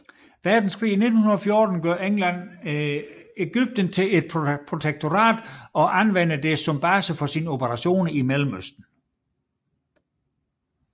Verdenskrig i 1914 gør England Egypten til et protektorat og anvendte det som base for sine operationer i Mellemøsten